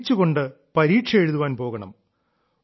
ചിരിച്ചുകൊണ്ട് പരീക്ഷ എഴുതാൻ പോകണം